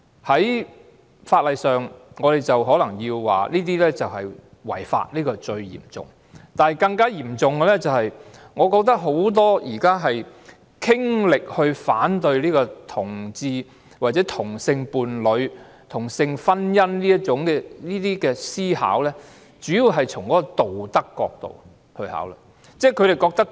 在法例上，我們可能說同性婚姻是違法的，但更嚴重的是，我覺得現時很多傾力反對同志、同性伴侶或同性婚姻的人士，主要是從道德角度考慮。